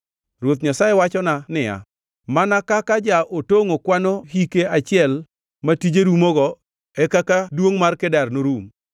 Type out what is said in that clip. Ruoth Nyasaye wachona niya, “Mana kaka ja-otongʼo kwano hike achiel ma tije rumogo e kaka duongʼ mar Kedar norum.